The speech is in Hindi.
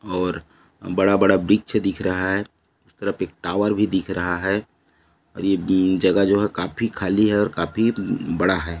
और बड़ा-बड़ा वृक्ष दिख रहा है उस तरफ एक टावर भी दिख रहा है और ये जगह जो है काफी खाली है और काफी बड़ा है।